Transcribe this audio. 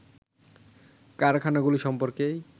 কারখানাগুলো সম্পর্কে